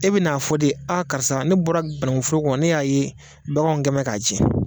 E bɛe n'a fɔ de a karisa ne bɔra banankunforo kɔnɔ ne y'a ye baganw kɛ bɛ ka cɛn